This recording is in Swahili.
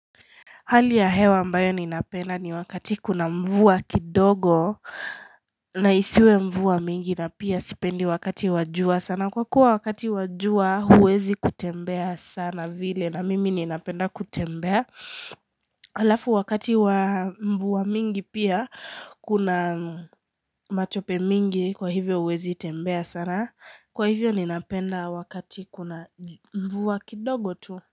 Hali ya hewa ambayo ninapenda ni wakati kuna mvua kidogo na isiwe mvua mingi na pia sipendi wakati wa jua sana. Kwa kuwa wakati wa jua, huwezi kutembea sana vile na mimi ninapenda kutembea. Alafu wakati wa mvua mingi pia, kuna matope mingi kwa hivyo huwezi tembea sana. Kwa hivyo ninapenda wakati kuna mvua kidogo tu.